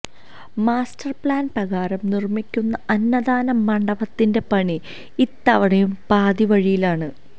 master plan പ്രകാരം നിര്മിക്കുന്ന അന്നദാന മണ്ഡപത്തിന്റെ പണി ഇത്തവണയും പാതിവഴിയിലാണ്